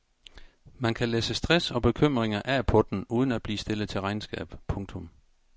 Man kan læsse stress og bekymringer af på den uden at blive stillet til regnskab. punktum